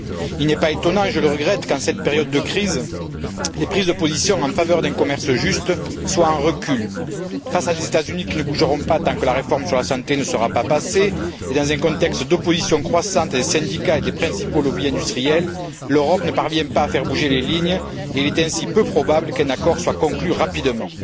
Il n'est pas étonnant et je le regrette qu'en cette période de crise, les prises de position en faveur d'un commerce juste soient en recul. Face à des États Unis qui ne bougeront pas tant que la réforme sur la santé ne sera pas passée, et dans un contexte d'opposition croissante des syndicats et des principaux lobbies industriels, l'Europe ne parvient pas à faire bouger les lignes, et il est ainsi peu probable qu'un accord soit conclu rapidement.